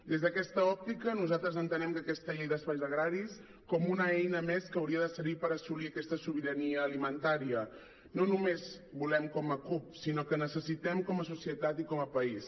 des d’aquesta òptica nosaltres entenem aquesta llei d’espais agraris com una eina més que hauria de servir per assolir aquesta sobirania alimentària que no només com a cup sinó que necessitem com a societat i com a país